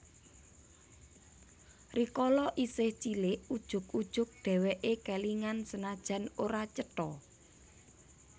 Rikala isih cilik ujug ujug dheweke kelingan senajan ora cetha